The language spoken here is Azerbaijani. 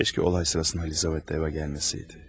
Kaş ki, hadisə zamanı Lizavetta da evə gəlməsəydi.